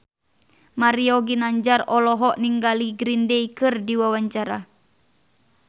Mario Ginanjar olohok ningali Green Day keur diwawancara